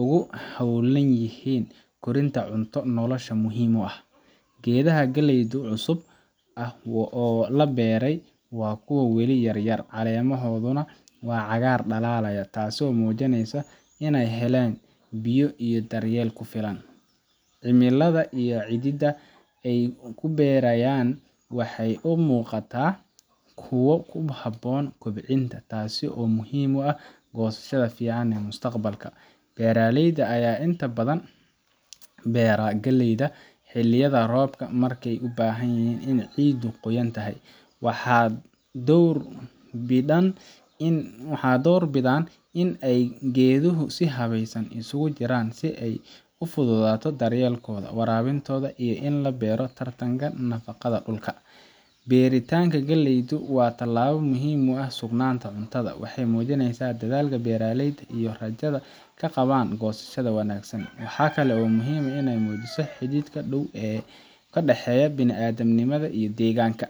ugu howlanyain kurinta cunto nolosha muhim u aah, keetha kaleyda cusub oo labeeray wakua wali yaryar caleemaha wacagar dalalyoh taaso oo mujineysoh Ina Helen biya iyo daryeel kufilan, cemelida iyo cedetha beerayan wamuhim beraleyda intabathan wa xeliyada roobka marka bahanyahin in ceeda qoyontahay waxay duur bithan in aay keethoh si habeeysan iskujiran iyo labeeroh nafaqada dulka beeritanga kaleeydo wa tilabo muhim aah suqnanata cunthata waxay mujineysah dalathlka beeraleeda iyo rajada kaqawan kosashada wanagsan waxakali oo muhim aah Ina mujisoh kadaxeeyoh biniamnimatha iyo deganka.